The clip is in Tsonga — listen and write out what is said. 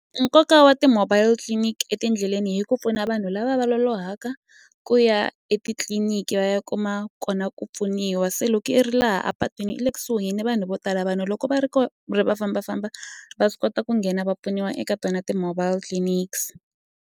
Nkoka wa ti-mobile clinic etindleleni hi ku pfuna vanhu lava va lolohaka ku ya etitliliniki va ya kuma kona ku pfuniwa se loko i ri laha a patwini i le kusuhi ni vanhu vo tala vanhu loko va ri ko ri va fambafamba va swi kota ku nghena va pfuniwa eka tona ti-mobile clinics.